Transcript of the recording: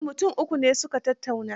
Eh, mutum uku ne su ka tattauna.